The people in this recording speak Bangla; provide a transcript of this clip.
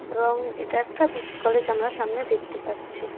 এবং এটা একটা বিটি কলেজ আমরা সামনে দেখতে পাচ্ছি।